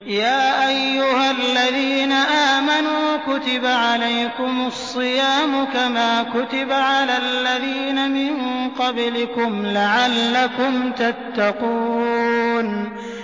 يَا أَيُّهَا الَّذِينَ آمَنُوا كُتِبَ عَلَيْكُمُ الصِّيَامُ كَمَا كُتِبَ عَلَى الَّذِينَ مِن قَبْلِكُمْ لَعَلَّكُمْ تَتَّقُونَ